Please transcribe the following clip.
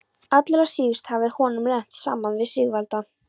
Allra síst hafði honum lent saman við Sigvalda.